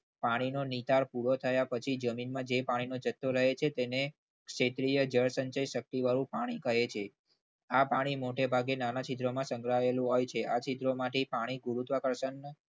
પાણીનો નિતાર પૂરો થયા પછી જમીનમાં જે પાણીનો જથ્થો રહે છે તેને ક્ષેત્રીય જળસંચયવાળું પાણી કહે છે આ પાણી મોટેભાગે નાના છિદ્રોમાં સંકળાયેલું હોય છે. આ ચિત્રોમાંથી પાણી ગુરુત્વાકર્ષણ બળથી